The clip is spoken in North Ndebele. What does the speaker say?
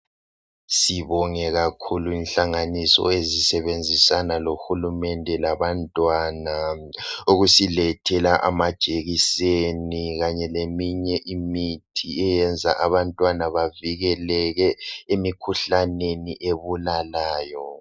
Sibonge kakhulu inhlanganiso ezisebenzisana lohulumende labantwana ukusilethela amajekiseni kanye leminye imithi eyenza abantwana bavikeleke emikhuhlaneni ebulalayo.